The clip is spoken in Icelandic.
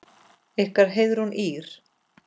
Ykkar Heiðrún Ýrr.